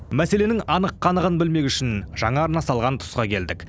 мәселенің анық қанығын білмек үшін жаңа арна салған тұсқа келдік